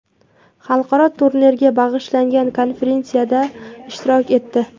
Xalqaro turnirga bag‘ishlangan konferensiyada ishtirok etdi.